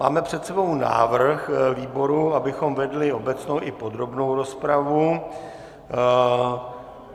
Máme před sebou návrh výboru, abychom vedli obecnou i podrobnou rozpravu.